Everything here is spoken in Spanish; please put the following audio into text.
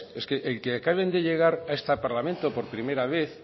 es el que acaben de llegar a este parlamento por primera vez